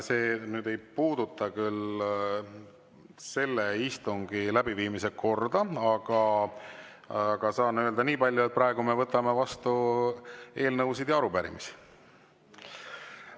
See nüüd küll ei puudutanud selle istungi läbiviimise korda, aga saan öelda niipalju, et praegu me võtame vastu eelnõusid ja arupärimisi.